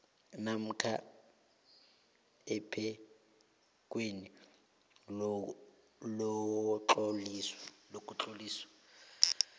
namkha ephikweni lokutlolisa